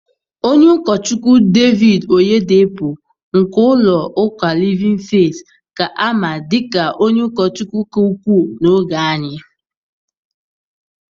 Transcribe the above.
Ọnye ụkọchukwu David Oyedepo nke ụlọ ụka Livin feet ka a ma na dika onye ụkọchukwu ka ukwuu n'oge anyị.